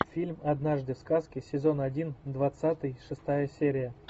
фильм однажды в сказке сезон один двадцатый шестая серия